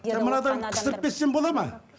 жоқ мынадан қыстырып кетсем болады ма